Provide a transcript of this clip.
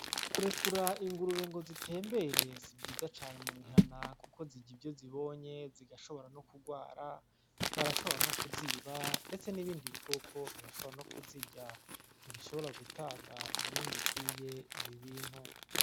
Kurekura ingurube ngo zitembere si vyiza cane mu mihanahana kuko zirya ivyo zibonye, zigaishobora no kugwara. Barashobora no kuziba, ndetse n’ibindi bikoko birashobora no kuzirya. Ntibishobora gutanga umwimbu ukwiye ibi bintu.